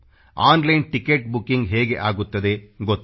online ticket booking ಹೇಗೆ ಆಗುತ್ತದೆ ಗೊತ್ತು